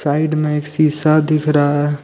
Side मे एक शीशा दिख रहा है।